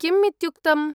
किम् इत्युक्तम्?